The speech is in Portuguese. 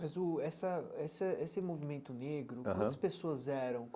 Mas o essa essa esse movimento negro aham, quantas pessoas eram?